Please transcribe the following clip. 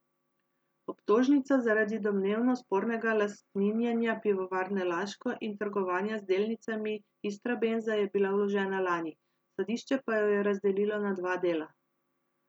Obtožnica zaradi domnevno spornega lastninjenja Pivovarne Laško in trgovanja z delnicami Istrabenza je bila vložena lani, sodišče pa jo je razdelilo na dva dela.